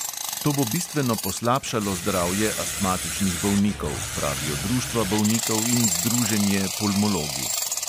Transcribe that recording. To bo bistveno poslabšalo zdravje astmatičnih bolnikov, pravijo društva bolnikov in združenje pulmologi.